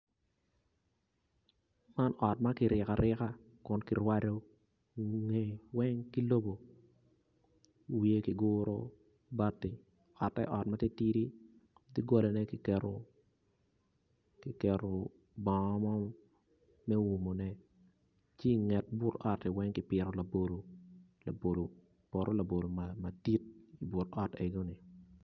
Man ot ma kiriko arika kun kirwado kome kome weng ki lobo wiye kiguro ki bati ote ot ma titidi doggolane kiketo bongo mo me umone ki i nget but oti weng ki pito labolo poto labolo madit i but ot meno.